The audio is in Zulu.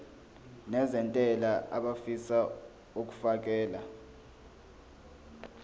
nezentela abafisa uukfakela